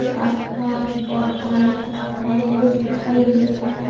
ये आस पास बहुत सारे पेड पौधे भी दिखाई दे रहे है।